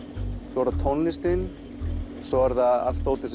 svo er það tónlistin svo er það allt dótið